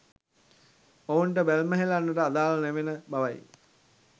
ඔවුන්ට බැල්ම හෙළන්නට අදාළ නෙවෙන බවයි.